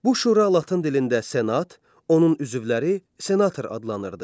Bu Şura Latın dilində Senat, onun üzvləri senator adlanırdı.